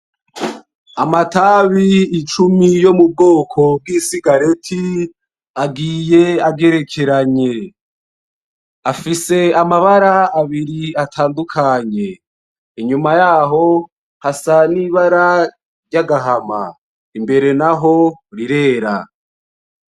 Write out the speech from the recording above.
Amatabi icumi yo mubwoko bw'isigareti agiye agerekeranye. Afise amabara abiri atandukanye, inyuma yaho hasa n'ibara ryagahama, imbere naho rirera.